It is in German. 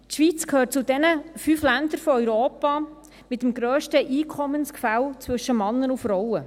Die Schweiz gehört zu jenen fünf Ländern in Europa mit dem grössten Einkommensgefälle zwischen Männern und Frauen.